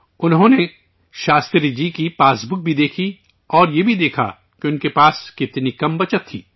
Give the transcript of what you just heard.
انہوں نے شاستری جی کی پاس بک بھی دیکھی اور یہ بھی دیکھا کہ ان کے پاس کتنی کم بچت تھی